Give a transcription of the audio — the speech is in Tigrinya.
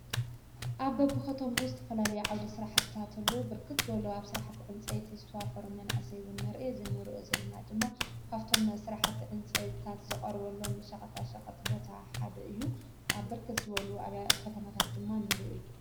ኣብ ኣብኸቶምኡ ዝተፈላሉ ይዓውደ ሥራሕታ እተሉ ብርክት በሉ ኣብ ሠራሕቲ ዕንፀይት ዝተዋፈሩ መን እሰይቡን ንርኢ ዘነርዮ ዝለና ድማ ካፍቶም ሠራሕቲ ዕንፀይታት ዘቐርወሎም ሸቐታ ሸቐት ቦታ ሓደ እዩ። ኣብ ብርክት ዝበሉ ኣብያ ኸተመታት ድማ ነሩዩ እዩ።